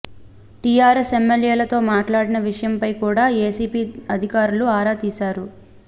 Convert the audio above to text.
TRS ఎమ్మెల్యేలతో మాట్లాడిన విషయంపై కూడా ఎసిబి అధికారులు ఆరా తీశారు